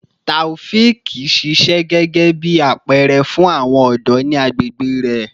Taofiq ṣiṣẹ gẹgẹbi apẹẹrẹ fun awọn ọdọ ni agbegbe rẹ